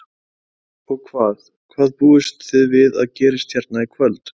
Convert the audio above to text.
Þórhildur: Og hvað, hvað búist þið við að gerist hérna í kvöld?